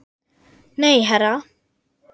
Nei, herra